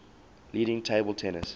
leading table tennis